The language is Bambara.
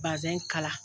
Bazɛn kala